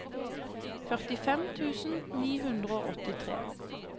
førtifem tusen ni hundre og åttitre